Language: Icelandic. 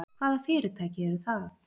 Hvaða fyrirtæki eru það?